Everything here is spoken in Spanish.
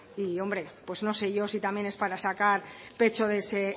verdad hombre pues no sé yo si también es para sacar pecho de ese